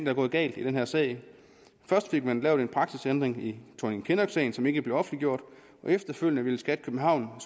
er gået galt i den her sag først fik man lavet en praksisændring i thorning kinnock sagen som ikke blev offentliggjort og efterfølgende ville skat københavn